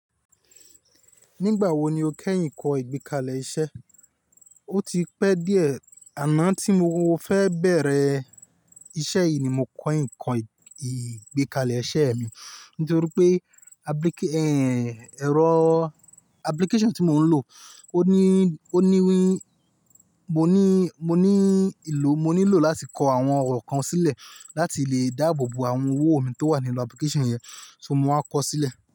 Nígbà wo ni o kẹ́yìn kọ ìgbékalẹ̀ iṣẹ́? O ti pẹ́ díẹ̀ àmọ́ tí mo o fẹ́ bẹ̀rẹ̀ iṣẹ́ yìí ni mo kọyin ko i ìgbékalẹ̀ iṣẹ́ mi nítorí pé abiki, e ẹ̀rọ application tí mo ń lo ohun ni ńi ilò mo ní lò láti kọ àwọn ọ̀rọ̀ kan sílẹ̀ láti lè dáàbò bo àwọn owó mi tó wà nínú application yẹn, so mo wá kọ sílẹ̀